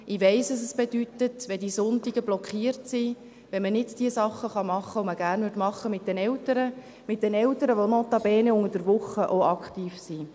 Ich weiss, was es bedeutet, wenn die Sonntage blockiert sind, wenn man nicht die Dinge tun kann, die man mit den Eltern gerne tun würde – mit den Eltern, die notabene unter der Woche auch aktiv sind.